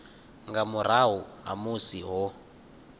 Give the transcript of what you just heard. nga murahu ha musi ho